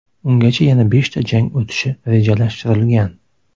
Ungacha yana beshta jang o‘tishi rejalashtirilgan.